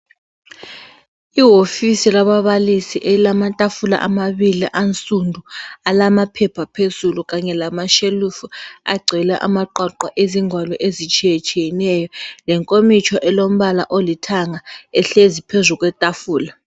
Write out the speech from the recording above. Iwofisi lababalisi elamatafula amabili ansundu alamaphepha phezulu kanye lamashelufu agcwele amaqoqo ezingwalo ezitshiyetshiyeneyo lenkomitsho elombala olithanga ehlezi phezu kwetafula.